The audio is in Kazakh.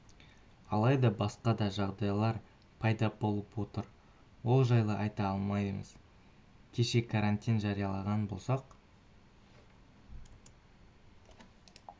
алайда басқа да жағдайлар пайда болып отыр ол жайлы айта алмаймыз кеше карантин жариялаған болсақ